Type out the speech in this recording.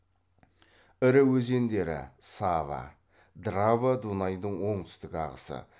ірі өзендері сава драва дунайдың оңтүстік ағысы